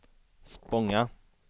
Spånga